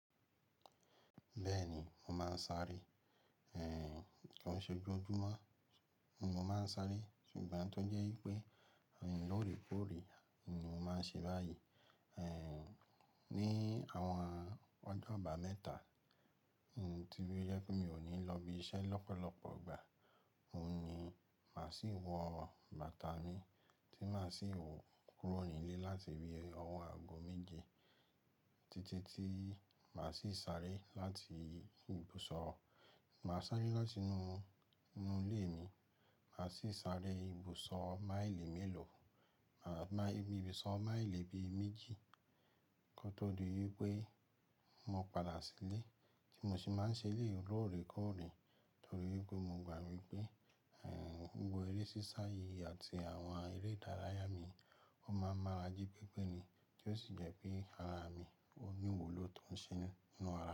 Bẹ́ẹ̀ni, mo máa ń sáré. Ẹ̀ ko n ṣe ojojumo ni mo máa ń sáré, ṣùgbọ́n tó jẹ́ wipé lóòrèkóòrè ni mo máa ń ṣe báyìí, eeh, ní àwọn ọjọ́ aba mẹ́ta tí ó jẹ pé mi ò ní lọ ibi iṣẹ́ lọ́pọ̀lọpọ̀ ìgbà, oun ni máa sì wọ bàtà mi tí màá sì hó kúrò nílé láti bí ọ̀wọ́ àgbo méje títí tí màá sì sáré láti ibùsọ̀, màá sáré láti inú ilé mi, màá sì sáré ibùsọ̀ máìlì mélòó, ibùsọ̀ máìlì bí i méjì kó tó di wípé mo padà sílé tí mo sì máa ń ṣe lé yii lóòrèkóòrè torí pé mo gbà wipé, eeh, gbogbo eré sísá yìí àti àwọn eré ìdárayá mi ó máa ń mára jí pẹ́pẹ́ni tí ó sì jẹ́ pé ara mi ò ní wu ló tó ń ṣe ninú ara.